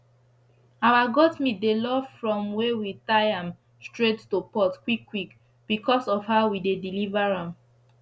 our goat meat dey love from were we tie am straight to pot quick quick becos of how we dey deliver am